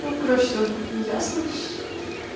ну короче тоже не ясно